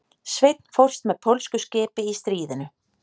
Sveinn fórst með pólsku skipi í stríðinu